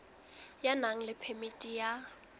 ya nang le phemiti ya